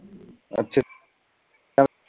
ਅੱਛਾ